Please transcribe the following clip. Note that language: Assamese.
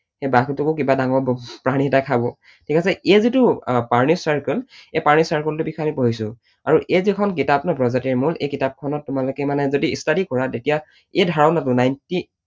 সেই বাঘটোকো কিবা ডাঙৰ প্ৰাণী এটাই খাব। ঠিক আছে? এই যিটো আহ প্ৰাণীৰ circle এই প্ৰাণীৰ circle টোৰ বিষয়ে আমি পঢ়িছো, আৰু এই যিখন কিতাপ ন প্ৰজাতিৰ মূল, এই কিতাপখনত তোমালোকে মানে যদি study কৰা তেতিয়া এই ধাৰণাটো Ninety